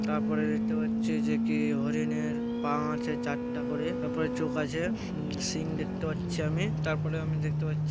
তারপরে দেখতে পাচ্ছি যে কি হরিণের পা আছে চারটা করে তারপরে চোখ আছেউম শিং দেখতে পাচ্ছি আমি তারপরে আমি দেখতে পাচ্ছি--